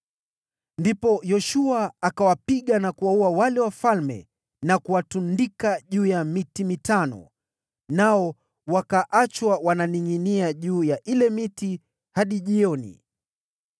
Ndipo Yoshua akawapiga na kuwaua wale wafalme na kuwatundika juu ya miti mitano, nao wakaachwa wakiningʼinia juu ya ile miti hadi jioni.